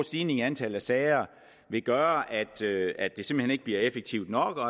stigning i antallet af sager gøre at det simpelt hen ikke bliver effektivt nok og